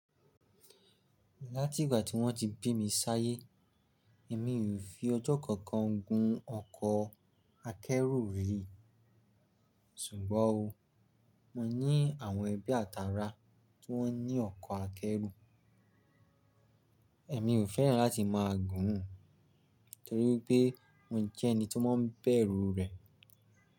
Láti ìgbà tí wọ́n ti bí mi sáyé, èmi ò fi ọjọ́ kankan gún ọkọ̀ akẹ́rù rí. Sùgbọ́n o, mo ní àwọn ẹbí àtara tó ní ọkọ̀ akẹ́rù. Èmi ò fẹ́ràn láti máa gùn torí pé mo jẹ́ ẹni tó máa ń bẹ̀rù rẹ̀.